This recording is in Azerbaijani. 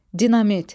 Dinamit.